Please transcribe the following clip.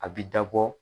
A bi dabɔ